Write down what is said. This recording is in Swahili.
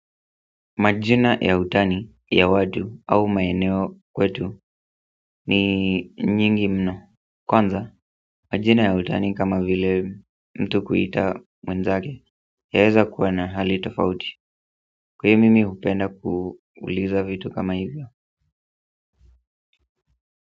Majina ya utani ya watu au maeneo kwetu ni nyingi mno kwanza, majina ya utani kama vile mtu kuita mwenzake, yaweza kuwa na hali tofauti. Kwa hiyo mimi hupenda kuuliza vitu kama hivyo.